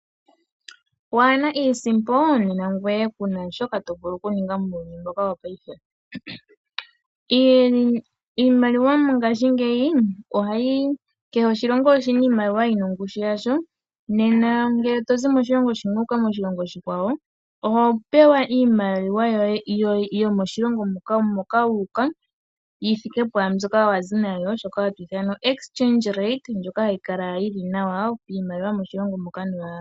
Waana iisimpo nena ngoye kuna shoka to vulu oku ninga muuyuni mbuka wopaife. Kehe oshilongo oshina iimaliwa yina ongushu yasho, nena ngele tozi moshilongo shimwe wuuka moshilongo oshikwawo oho pewa iimaliwa yomOshilongo moka wuuka yithike pwaambyoka wazi nayo shoka ha twiithana (exchange rate) mbyoka hayi kala yili nawa.